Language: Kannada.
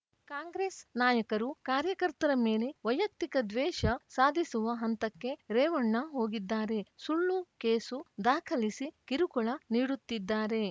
ಕಾಂಗ್ರೆಸ್‌ ನಾಯಕರು ಕಾರ್ಯಕರ್ತರ ಮೇಲೆ ವೈಯಕ್ತಿಕ ದ್ವೇಷ ಸಾಧಿಸುವ ಹಂತಕ್ಕೆ ರೇವಣ್ಣ ಹೋಗಿದ್ದಾರೆ ಸುಳ್ಳು ಕೇಸು ದಾಖಲಿಸಿ ಕಿರುಕುಳ ನೀಡುತ್ತಿದ್ದಾರೆ